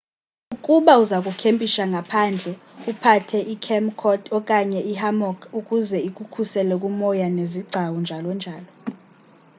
ukuba uzakukempisha ngaphandle uphathe ikhemp cot okanye i hammock ukuze ikukhusele kwinyoka nezigcawu njalo njalo